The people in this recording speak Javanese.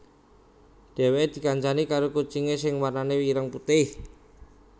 Dhèwèké dikancani karo kucingé sing warnané ireng putih